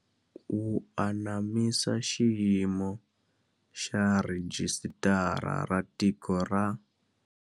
Wu anamisa xiyimo xa Rhijisitara ra Tiko ra.